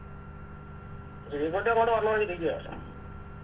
ശ്രീക്കുട്ടി അങ്ങോട്ട് വരാണോ പറഞ്ഞിരിക്കുവാ